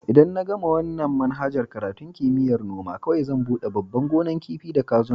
Idan na gama wanan manhajar karatun kimiyya'n noma, kowai zan bude babban gonan kifi da kazuna.